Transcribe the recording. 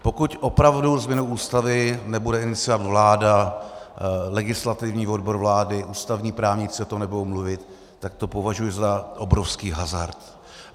Pokud opravdu změnu Ústavy nebude iniciovat vláda, legislativní odbor vlády, ústavní právníci o tom nebudou mluvit, tak to považuji za obrovský hazard.